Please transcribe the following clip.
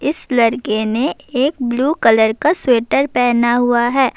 اس لڑکے نے ایک بلو کلر کا سویٹر پہنا ہوا ہے-